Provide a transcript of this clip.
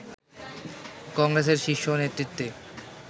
কংগ্রেসের শীর্ষ নেতৃত্বে